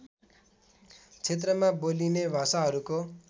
क्षेत्रमा बोलिने भाषाहरूको